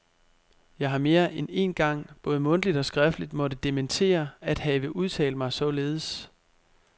Jeg har mere end én gang både mundtligt og skriftligt måtte dementere at have udtalt mig således.